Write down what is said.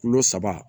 Kulo saba